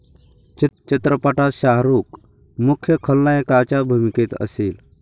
चित्रपटात शाहरूख मुख्य खलनायकाच्या भूमिकेत असेल.